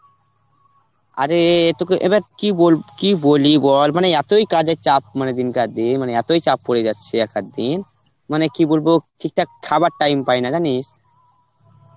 আরে তোকে এবার কি বল~ কি বলি বল মানে এতই কাজের চাপ মানে তিন চার দিন মানে এতই চাপ পড়ে যাচ্ছে এক আধদিন মানে কি বলবো ঠিকঠাক খাবার time পাইনা জানিস.